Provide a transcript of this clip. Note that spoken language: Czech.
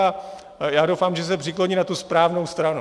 A já doufám, že se přikloní na tu správnou stranu.